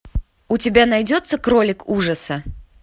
у тебя найдется кролик ужаса